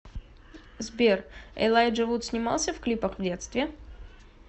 сбер элайджа вуд снимался в клипах в детстве